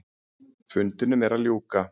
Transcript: Fundinum er að ljúka.